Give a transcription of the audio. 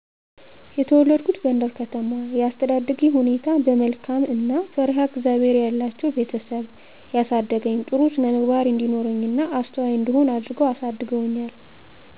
የተወለድኩት ጎንደር ከተማ የአስተዳደጌ ሁኔታ በመልካም እና ፈርሃ እግዚአብሔር ያላቸዉ ቤተሰብ ያሳደገኝ ጥሩ ስነምግባር እንዲኖረኝ እና አስተዋይ እንድሆን አድርገዉ አሳድገዉኛ